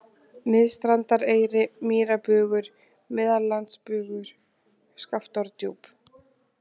Miðstrandareyri, Mýrabugur, Meðallandsbugur, Skaftárdjúp